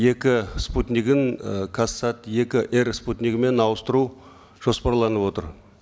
екі спутнигін і казсат екі эр спутнигімен ауыстыру жоспарланып отыр